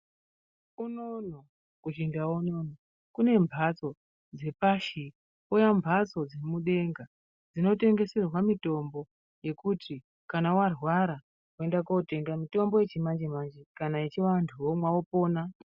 Unono huchindau unono kune mbatso dzepashi kwouya mbatso dzemudenga dzinotengeserwa mitombo dzekuti kana warwara woenda kootenga mutombo yechimanje-manje kana yechiwantu womwa wopona.